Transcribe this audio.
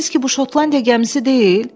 Dediniz ki, bu Şotlandiya gəmisi deyil?